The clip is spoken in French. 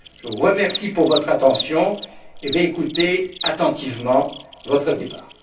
Je vous remercie pour votre attention et compte écouter attentivement votre débat.